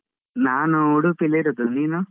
ನಾನು ಉಡುಪಿಲಿರುದು, ನೀನು?